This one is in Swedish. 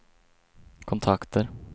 kontakter